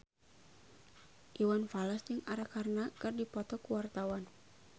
Iwan Fals jeung Arkarna keur dipoto ku wartawan